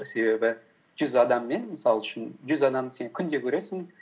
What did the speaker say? себебі жүз адаммен мысал үшін жүз адамды сен күнде көресің